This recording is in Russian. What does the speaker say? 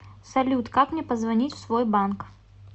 салют как мне позвонить в свой банк